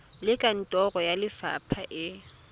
le kantoro ya lefapha e